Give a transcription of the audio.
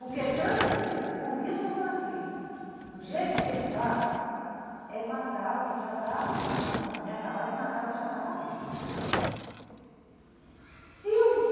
Porque transpor o rio São Francisco do jeito que ele está é matar o que já está agonizando, é acabar de matar o que já está morrendo.